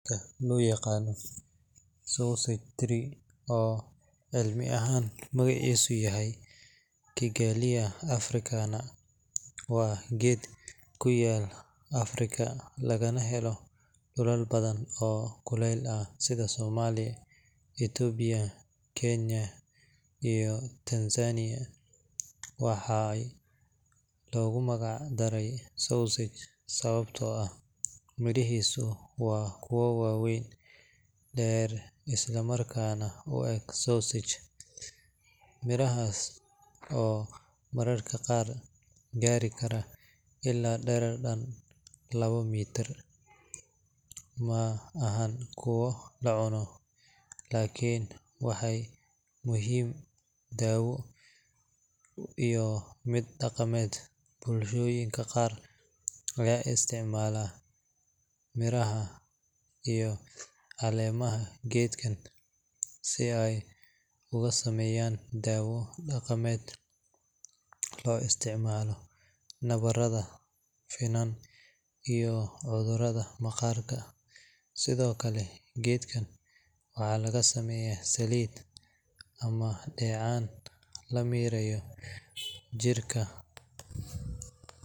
Geedka loo yaqaan Sausage Tree, oo cilmi ahaan magaciisu yahay Kigelia Africana, waa geed ku yaal Afrika lagana helo dhulal badan oo kuleyl ah sida Soomaaliya, Itoobiya, Kenya iyo Tansaaniya. Waxaa loogu magac daray sausage sababtoo ah mirihiisa waa kuwo waaweyn, dheer isla markaana u eg sausage. Mirahaas oo mararka qaar gaari kara ilaa dherer dhan labo mitir, ma ahan kuwo la cuno, laakiin waxay leeyihiin muhiimad daawo iyo mid dhaqameed. Bulshooyinka qaar ayaa isticmaala miraha iyo caleemaha geedkan si ay uga sameeyaan daawo dhaqameed loo isticmaalo nabarrada, finan, iyo cudurrada maqaarka. Sidoo kale, geedkan waxaa laga sameeyaa saliid ama dheecaan la mariyo jirka.